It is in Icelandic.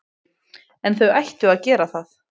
En þau ættu að gera það.